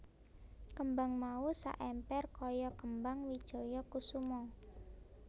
Kembang mau saemper kaya kembang wijaya kusuma